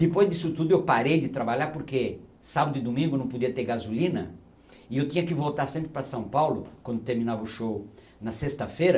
Depois disso tudo, eu parei de trabalhar porque sábado e domingo não podia ter gasolina e eu tinha que voltar sempre para São Paulo, quando terminava o show, na sexta-feira,